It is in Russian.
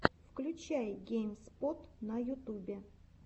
включай гейм спот на ютубе